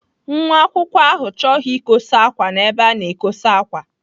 Nwa akwụkwọ ahụ chọghị ikosa ákwà n'ebe a na-ekosa ákwà.